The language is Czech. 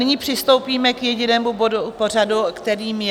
Nyní přistoupíme k jedinému bodu pořadu, kterým je